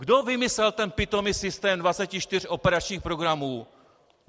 Kdo vymyslel ten pitomý systém 24 operačních programů?